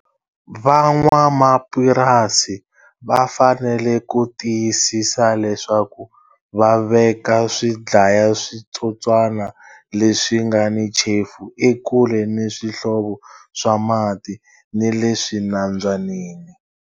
Van'wamapurasi va fanele ku tiyisisa leswaku va veka swidlayaswitsotswana leswi nga ni chefu ekule ni swihlovo swa mati ni le swinambyanini.